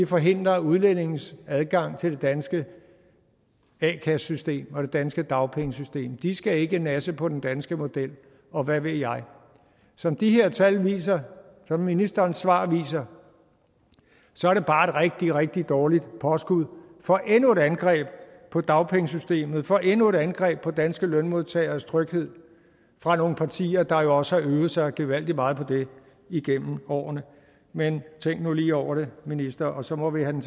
forhindre udlændinges adgang til det danske a kassesystem og det danske dagpengesystem de skal ikke nasse på den danske model og hvad ved jeg som de her tal viser som ministerens svar viser så er det bare et rigtig rigtig dårligt påskud for endnu et angreb på dagpengesystemet for endnu et angreb på danske lønmodtageres tryghed fra nogle partier der jo også har øvet sig gevaldig meget på det igennem årene men tænk nu lige over det minister og så må vi have